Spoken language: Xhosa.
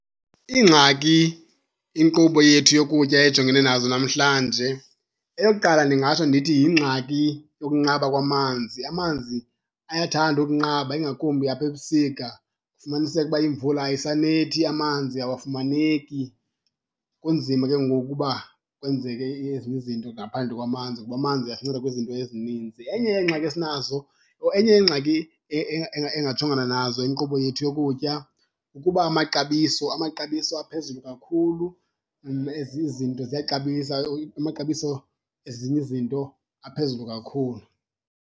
Iingxaki inkqubo yethu yokutya ejongene nazo namhlanje eyokuqala ndingatsho ndithi yingxaki yokunqaba kwamanzi. Amanzi ayathanda ukunqaba, ingakumbi apha ebusika, kufumaniseke uba imvula ayisanethi amanzi awafumaneki. Kunzima ke ngoku uba kwenzeke ezinye izinto ngaphandle kwamanzi kuba amanzi asinceda kwizinto ezininzi. Enye yeengxaki esinazo or enye yeengxaki engajongana nazo inkqubo yethu yokutya kukuba amaxabiso, amaxabiso aphezulu kakhulu, ezi izinto ziyaxabisa, amaxabiso ezinye izinto aphezulu kakhulu.